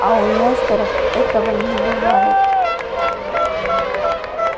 а у несторов этого не бывает